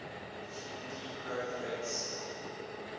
gdp growth rates